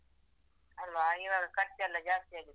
ಅಲ್ವಾ ಈವಾಗ ಖರ್ಚೆಲ್ಲ ಜಾಸ್ತಿ ಆಗಿದೆ ಅಲ್ವಾ.